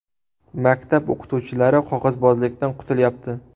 Maktab o‘qituvchilari qog‘ozbozlikdan qutulyapti.